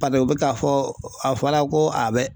Paseke u bɛ k'a fɔ, a fɔra ko a bɛ